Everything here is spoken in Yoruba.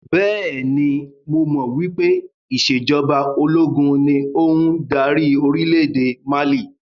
Bẹ́ẹ̀ni, mo mọ̀ wípé ìsèjọba ológun ni ó ń dárí orílédé Mali